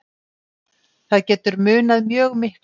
Það getur munað mjög miklu.